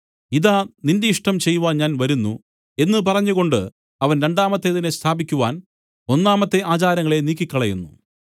ഇതാ നിന്റെ ഇഷ്ടം ചെയ്‌വാൻ ഞാൻ വരുന്നു എന്നു പറഞ്ഞുകൊണ്ട് അവൻ രണ്ടാമത്തേതിനെ സ്ഥാപിക്കുവാൻ ഒന്നാമത്തെ ആചാരങ്ങളെ നീക്കിക്കളയുന്നു